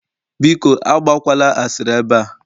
Biko Agba kwala asịrị ebe a